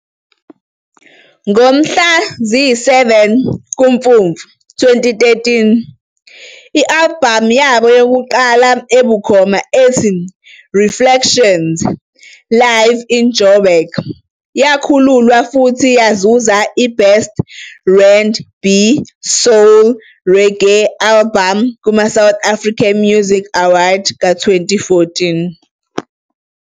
Ngomhla ziyi-7 kuMfumfu 2013, i-albhamu yabo yokuqala ebukhoma ethi Reflections - Live In Joburg, yakhululwa futhi yazuza i-Best R and B, Soul, Reggae Album kuma-South African Music Awards ka-2014.